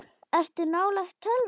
Ertu nálægt tölvu?